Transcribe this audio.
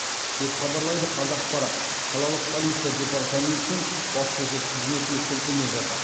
деп хабарлайды қазақпарат қалалық полиция департаментінің баспасөз қызметіне сілтеме жасап